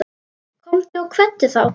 Komdu og kveddu þá.